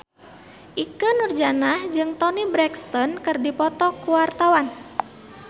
Ikke Nurjanah jeung Toni Brexton keur dipoto ku wartawan